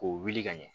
K'o wuli ka ɲɛ